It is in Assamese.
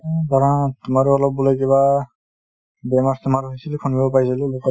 তোমাৰো অলপ বোলে কিবা বেমাৰ-চেমাৰ হৈছিলে শুনিব পাইছিলো